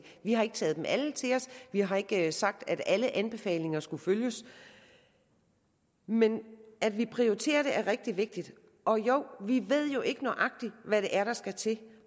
vi har ikke taget dem alle til os vi har ikke sagt at alle anbefalinger skulle følges men at vi prioriterer det er rigtig vigtigt og jo vi ved jo ikke nøjagtigt hvad det er der skal til